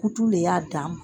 Kutu le y'a dan ma.